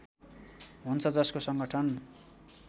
हुन्छ जसको सङ्गठन